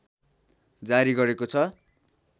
जारी गरेको छ